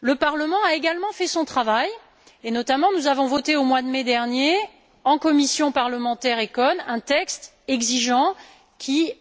Le Parlement a également fait son travail et nous avons notamment voté au mois de mai dernier, en commission parlementaire ECON, un texte exigeant qui,